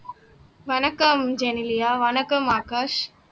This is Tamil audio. வணக்கம் ஜெனிலியா வணக்கம் ஆகாஷ்